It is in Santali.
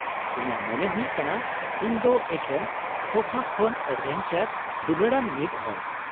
ᱤᱧᱟᱹᱜ ᱢᱚᱱᱮ ᱦᱩᱭᱩᱜ ᱠᱟᱱᱟ ᱤᱧ ᱫᱚ ᱮᱠᱷᱮᱱ ᱥᱳᱯᱷᱟ ᱠᱷᱚᱱ ᱮᱰᱵᱷᱮᱧᱪᱟᱨ ᱫᱩᱞᱟᱹᱲᱟᱱ ᱢᱤᱫ ᱦᱚᱲ ᱾